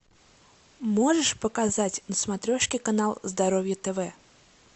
можешь показать на смотрешке канал здоровье тв